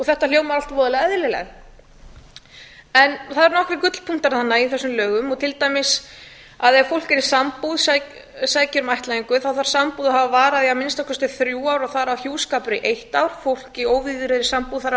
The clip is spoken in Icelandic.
þetta hljómar allt voðalega eðlilega það eru nokkrir gullpunktar þarna í þessum lögum á ef fólk er í sambúð sækir um ættleiðingu þá þarf sambúð að hafa varað í að minnsta kosti þrjú ár og þar af hjúskapur í eitt ár fólk í óvígðri sambúð þarf